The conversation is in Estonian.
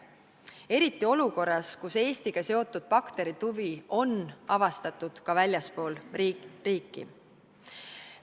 Eriti olukorras, kus Eestiga seotud bakteritüve on avastatud ka väljaspool meie riiki.